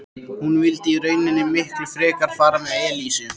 Hann vildi í rauninni miklu frekar fara með Elísu.